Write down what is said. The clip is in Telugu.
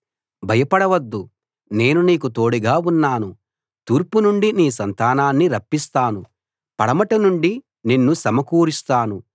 భయపడవద్దు నేను నీకు తోడుగా ఉన్నాను తూర్పు నుండి నీ సంతానాన్ని రప్పిస్తాను పడమటి నుండి నిన్ను సమకూరుస్తాను